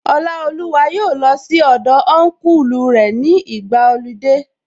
Ọlaoluwa yóò lọ sí ilé Ọnkulu rẹ̀ ní ìgbàa ọludé